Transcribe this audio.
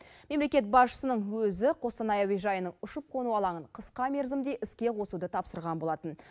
мемлекет басшысының өзі қостанай әуежайының ұшып қону алаңын қысқа мерзімде іске қосуды тапсырған болатын